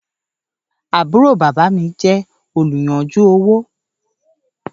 Àbúrò bábá mi jẹ oluyanju owo